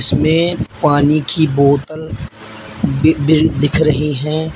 इसमें पानी की बोतल भी बी दिख रही है।